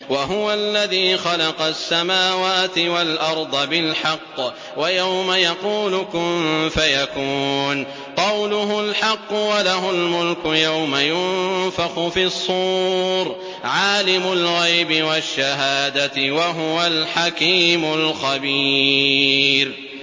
وَهُوَ الَّذِي خَلَقَ السَّمَاوَاتِ وَالْأَرْضَ بِالْحَقِّ ۖ وَيَوْمَ يَقُولُ كُن فَيَكُونُ ۚ قَوْلُهُ الْحَقُّ ۚ وَلَهُ الْمُلْكُ يَوْمَ يُنفَخُ فِي الصُّورِ ۚ عَالِمُ الْغَيْبِ وَالشَّهَادَةِ ۚ وَهُوَ الْحَكِيمُ الْخَبِيرُ